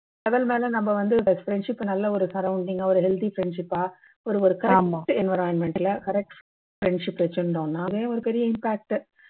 அதனால நம்ம வந்து friendship நல்ல ஒரு surrounding கா ஒரு healthy friendship பா ஒரு ஒரு correct environment ல correct friendship வச்சி இருந்தோம்னாலே ஒரு ஓரிய impact டு